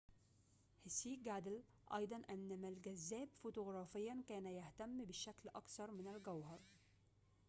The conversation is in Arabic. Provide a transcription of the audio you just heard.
هسيه جادل أيضاً أن ما الجذاب فوتوغرافياً كان يهتم بالشكل أكثر من الجوهر